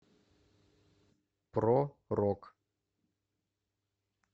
про рок